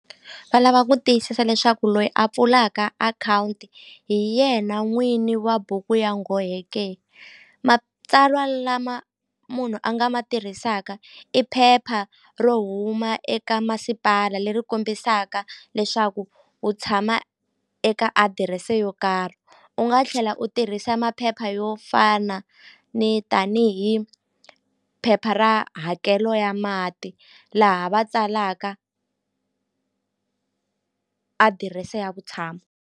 Va lava ku tiyisisa leswaku loyi a pfulaka akhawunti hi yena n'wini wa buku ya nghohe ke matsalwa lama munhu a nga ma tirhisaka i phepha ro huma eka masipala leri kombisaka leswaku u tshama eka adirese yo karhi u nga tlhela u tirhisa maphepha yo fana ni tanihi phepha ra hakelo ya mati laha va tsalaka adirese ya vutshamo.